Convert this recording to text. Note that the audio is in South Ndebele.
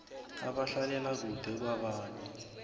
abahlalela kude kwabanye